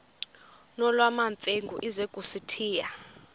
nolwamamfengu ize kusitiya